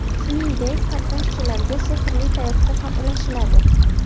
Shuningdek, qatnashchilarga sehrli tayoqcha ham ulashiladi.